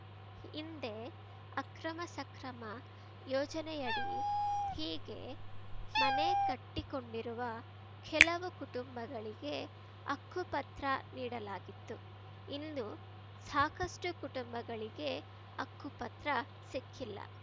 ಹಿಂದೆ ಅಕ್ರಮಸಕ್ರಮ ಯೋಜನೆಯಡಿ ಹೀಗೆ ಮನೆ ಕಟ್ಟಿಕೊಂಡಿರುವ ಕೆಲವು ಕುಟುಂಬಗಳಿಗೆ ಹಕ್ಕುಪತ್ರ ನೀಡಲಾಗಿತ್ತು ಇನ್ನು ಸಾಕಷ್ಟುಕುಟುಂಬಗಳಿಗೆ ಹಕ್ಕುಪತ್ರ ಸಿಕ್ಕಿಲ್ಲ